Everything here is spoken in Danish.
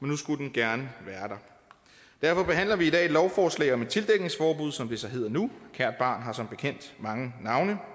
nu skulle den gerne være der derfor behandler vi i dag et lovforslag om et tildækningsforbud som det så hedder nu kært barn har som bekendt mange navne